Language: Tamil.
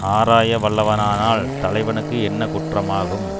ஆராயவல்லவனானால் தலைவனுக்கு என்ன குற்றமாகும்